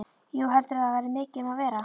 Jú, heldurðu að það verði mikið um að vera?